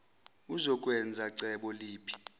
uzokwenza cebo liphi